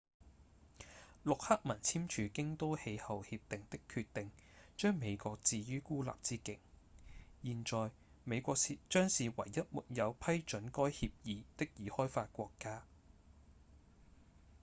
陸克文簽署京都氣候協定的決定將美國置於孤立之境現在美國將是唯一沒有批准該協議的已開發國家